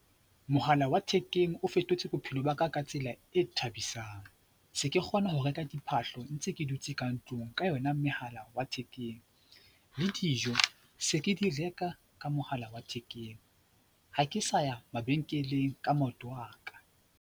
Mohala wa thekeng o fetotse bophelo ba ka ka tsela e thabisang. Se ke kgona ho reka diphahlo ntse ke dutse ka ntlung ka yona mohala wa thekeng le dijo se ke di reka ka mohala wa thekeng. Ha ke sa ya mabenkeleng ka maoto a ka.